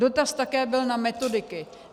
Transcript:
Dotaz také byl na metodiky.